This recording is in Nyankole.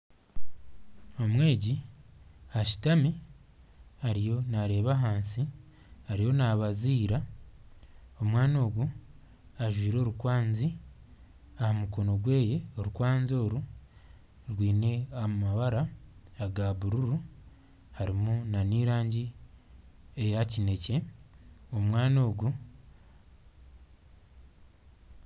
Omwegi ashutami ariyo nareeba ahansi ariyo nabaziira. Omwana ogu ajwire orukwanzi aha mukono gweye. Orukwanzi oru rwine amabara aga bururu harimu n'erangi eya kinekye.